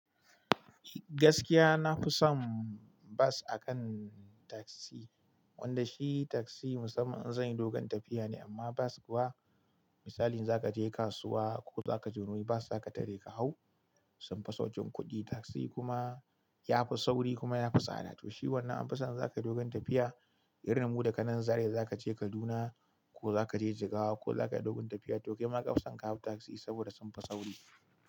Gaskiya na fi son bas akan taksi. Wanda shi taksi musamman in zan yi dogon tafiya ne, amma bas kuwa misali za ka je kasuwa ko za ka je wani wuri bas za ka tare ka hau sun fi sauƙin kuɗi, taksi kuma ya fi sauri kuma ya fi tsada. To shi wannan an fi son inza kai dogon tafiya irin mu da kanan Zaria za ka je Kaduna ko za ka je Jigawa ko za ka yi dogon tafiya. To kai ma ka fi son ka hau taksi saboda sun fi sauri.